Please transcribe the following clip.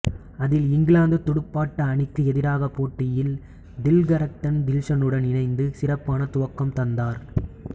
அதில் இங்கிலாந்துத் துடுப்பாட்ட அணிக்கு எதிரான போட்டியில் திலகரத்ன தில்சனுடன் இணைந்து சிறப்பான துவக்கம் தந்தார்